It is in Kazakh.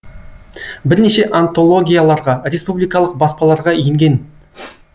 бірнеше антологияларға республикалық баспаларға енген